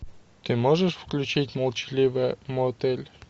ты можешь включить молчаливый мотель